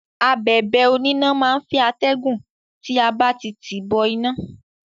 Abẹ̀bẹ̀ oníná má á ń fẹ́ atẹ́gùn tí a bá ti tìí bọ iná.